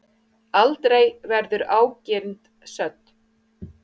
Aldrei verður ágirnd södd.